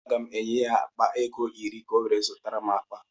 Aga m enye ya akpa ego iri ka ọ wee zụtara m akpa.